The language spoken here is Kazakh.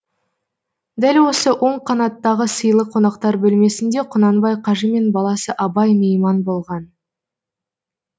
дәл осы оң қанаттағы сыйлы қонақтар бөлмесінде құнанбай қажы мен баласы абай мейман болған